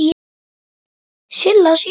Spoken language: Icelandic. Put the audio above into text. Silla systir Pínu.